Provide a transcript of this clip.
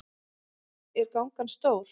Er gangan stór?